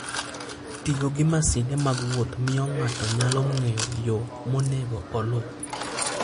Tiyo gi masinde mag wuoth miyo ng'ato nyalo ng'eyo yo monego oluw.